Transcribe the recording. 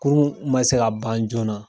Kurun ma se ka ban joona .